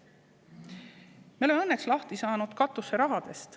Me oleme õnneks lahti saanud katuseraha jagamisest.